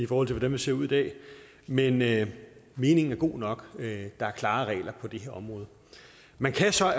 hvordan vi ser ud i dag men men meningen er god nok der er klare regler på det her område man kan så